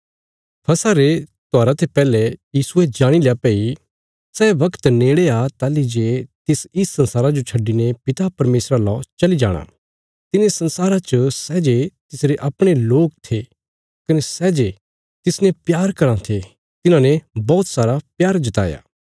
फसह रे त्योहारा ते पैहले यीशुये जाणील्या भई सै बगत नेड़े आ ताहली जे तिस इस संसारा जो छड्डिने पिता परमेशरा लौ चली जाणा तिने संसारा च सै जे तिसरे अपणे लोक थे कने सै जे तिसने प्यार कराँ थे तिन्हांने बौहत सारा प्यार जताया